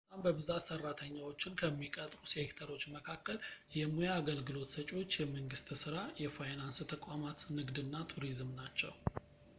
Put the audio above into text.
በጣም በብዛት ሰራተኛዎችን ከሚቀጥሩ ሴክተሮች መካከል የሙያ አገልግሎት ሰጪዎች የመንግስት ስራ የፋይናንስ ተቋማት ንግድ እና ቱሪዝም ናቸው